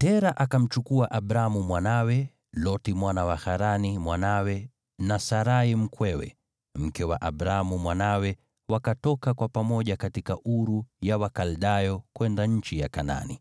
Tera akamchukua Abramu mwanawe, Loti mwana wa Harani mwanawe, na Sarai mkwewe, mke wa Abramu mwanawe, wakatoka kwa pamoja katika Uru ya Wakaldayo kwenda nchi ya Kanaani.